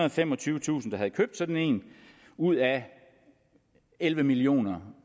og femogtyvetusind der havde købt sådan en ud af elleve millioner